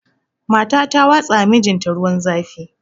Mata ta watsawa mijinta ruwan zafi